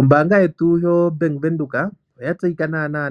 Ombaanga yetu yoBank Windhoek oya tseyika